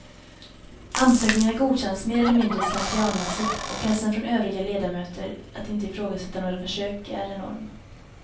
Ansökningar godkänns mer eller mindre slentrianmässigt och pressen från övriga ledamöter att inte ifrågasätta några försök är enorm.